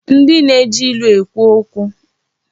Ndị na-eji ilu ekwu okwu.